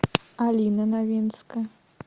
алина новинская